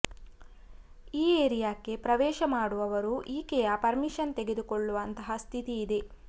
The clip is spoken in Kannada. ಈ ಏರಿಯಾಕ್ಕೆ ಪ್ರವೇಶ ಮಾಡುವವರು ಈಕೆಯ ಪರ್ಮಿಶನ್ ತೆಗೆದುಕೊಳ್ಳುವಂತಹ ಸ್ಥಿತಿ ಇದೆ